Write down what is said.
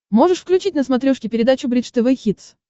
можешь включить на смотрешке передачу бридж тв хитс